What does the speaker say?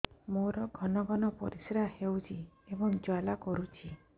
ମୋର ଘନ ଘନ ପରିଶ୍ରା ହେଉଛି ଏବଂ ଜ୍ୱାଳା କରୁଛି